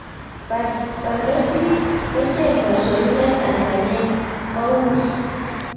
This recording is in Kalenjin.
Parnotik kocheng paishonik eng Tanzania ko uig